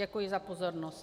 Děkuji za pozornost.